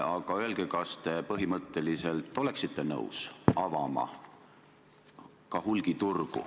Aga kas te põhimõtteliselt oleksite nõus hulgiturgu avama?